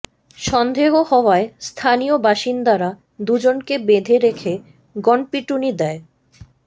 সন্দেহ হওয়ায় স্থানীয় বাসিন্দারা দুজনকে বেঁধে রেখে গণপিটুনি দেয়